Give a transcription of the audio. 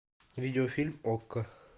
видеофильм окко